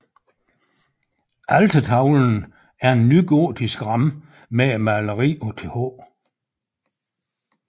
Altertavlen er en nygotisk ramme med et maleri af Th